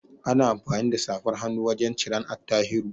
Ana amfani da safar hannun wajan ciran Attahiru